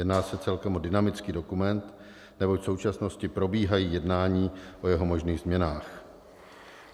Jedná se celkem o dynamický dokument neboť v současnosti probíhají jednání o jeho možných změnách.